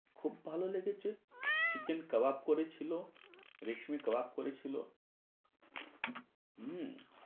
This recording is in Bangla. খুব ভালো লেগেছে। chicken কাবাব করেছিলো, রেশমি কাবাব করেছিলো। হু